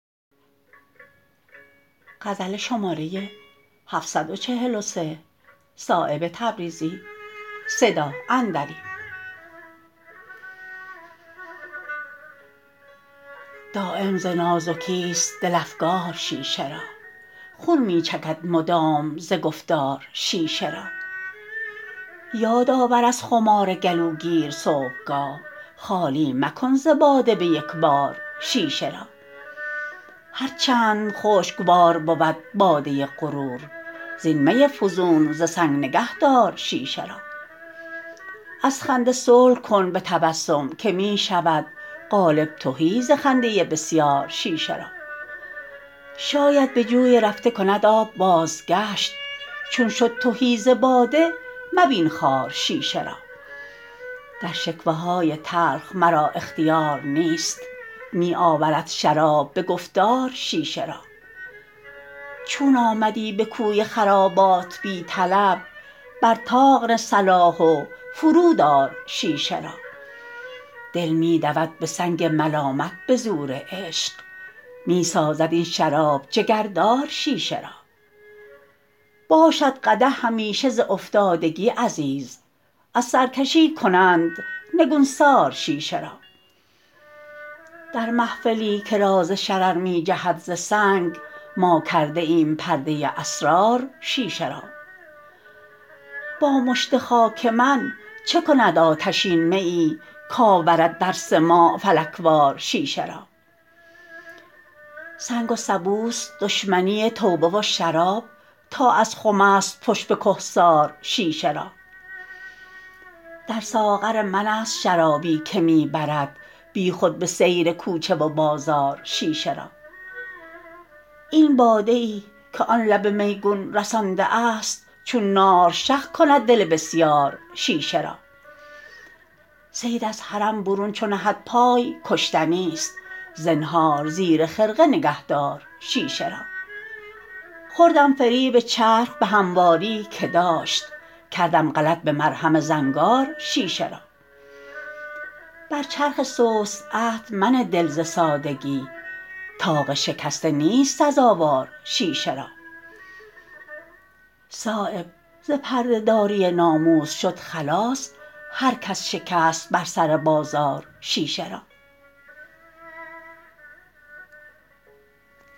دایم ز نازکی است دل افگار شیشه را خون می چکد مدام ز گفتار شیشه را یادآور از خمار گلوگیر صبحگاه خالی مکن ز باده به یکبار شیشه را هر چند خوشگوار بود باده غرور زین می فزون ز سنگ نگه دار شیشه را از خنده صلح کن به تبسم که می شود قالب تهی ز خنده بسیار شیشه را شاید به جوی رفته کند آب بازگشت چون شد تهی ز باده مبین خوار شیشه را در شکوه های تلخ مرا اختیار نیست می آورد شراب به گفتار شیشه را چون آمدی به کوی خرابات بی طلب بر طاق نه صلاح و فرود آر شیشه را دل می دود به سنگ ملامت به زور عشق می سازد این شراب جگردار شیشه را باشد قدح همیشه ز افتادگی عزیز از سرکشی کنند نگونسار شیشه را در محفلی که راز شرر می جهد ز سنگ ما کرده ایم پرده اسرار شیشه را با مشت خاک من چه کند آتشین میی کآورد در سماع فلک وار شیشه را سنگ و سبوست دشمنی توبه و شراب تا از خم است پشت به کهسار شیشه را در ساغر من است شرابی که می برد بیخود به سیر کوچه و بازار شیشه را این باده ای که آن لب میگون رسانده است چون نار شق کند دل بسیار شیشه را صید از حرم برون چو نهد پای کشتنی است زنهار زیر خرقه نگه دار شیشه را خوردم فریب چرخ به همواریی که داشت کردم غلط به مرهم زنگار شیشه را بر چرخ سست عهد منه دل ز سادگی طاق شکسته نیست سزاوار شیشه را صایب ز پرده داری ناموس شد خلاص هر کس شکست بر سر بازار شیشه را